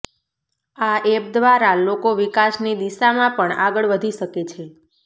આ એપ દ્વારા લોકો વિકાસની દિશામાં પણ આગળ વધી શકે છે